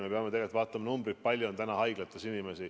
Me peame vaatama numbreid, kui palju on inimesi haiglas.